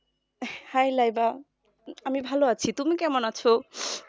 hi Laiba আমি ভালো আছি তুমি কেমন আছো